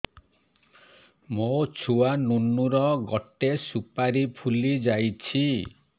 ମୋ ଛୁଆ ନୁନୁ ର ଗଟେ ସୁପାରୀ ଫୁଲି ଯାଇଛି